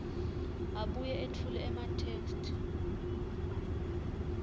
abuye etfule ematheksthi